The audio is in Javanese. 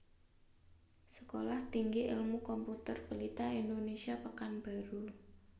Sekolah Tinggi Ilmu Komputer Pelita Indonesia Pekanbaru